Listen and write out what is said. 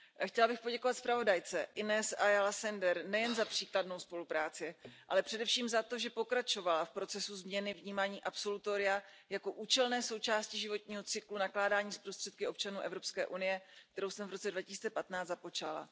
Chtěla bych poděkovat zpravodajce, Inés Ayalové Senderové nejen za příkladnou spolupráci, ale především za to, že pokračovala v procesu změny vnímání absolutoria jako účelné součásti životního cyklu nakládání s prostředky občanů Evropské unie, kterou jsem v roce 2015 započala.